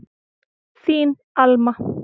Þín Alma.